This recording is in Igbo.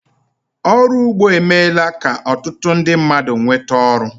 Ọrụ ugbo emeela ka ọtụtụ ndị mmadụ nweta oru